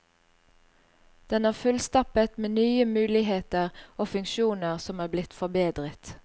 Den er fullstappet med nye muligheter og funksjoner som er blitt forbedret.